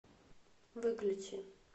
выключи